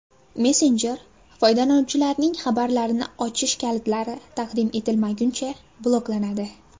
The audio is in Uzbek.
Messenjer foydalanuvchilarning xabarlarini ochish kalitlari taqdim etilmaguncha bloklanadi.